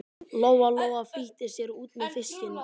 Lóa Lóa flýtti sér út með fiskinn.